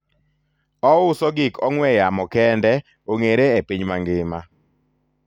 ouso gik ong'we yamo kende ong'ere e piny mangima